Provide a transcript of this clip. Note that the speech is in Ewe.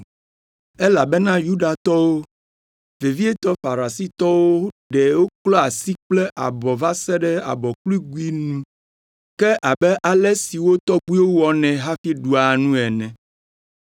(Elabena Yudatɔwo, vevietɔ Farisitɔwo ɖe woklɔa asi kple abɔ va se ɖe abɔkugluinu ke abe ale si wo tɔgbuiwo wɔnɛ hafi ɖua nu ene.